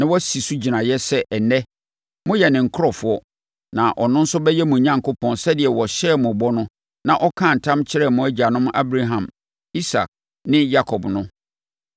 na wasi so gyinaeɛ sɛ ɛnnɛ, moyɛ ne nkurɔfoɔ na ɔno nso bɛyɛ mo Onyankopɔn sɛdeɛ ɔhyɛɛ mo bɔ no na ɔkaa ntam kyerɛɛ mo agyanom Abraham, Isak ne Yakob no.